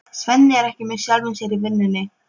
Svenni er ekki með sjálfum sér í vinnunni.